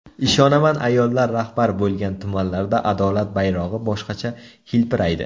Ishonaman ayollar rahbar bo‘lgan tumanlarda adolat bayrog‘i boshqacha hilpiraydi.